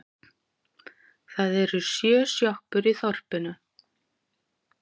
Það eru sjö sjoppur í þorpinu!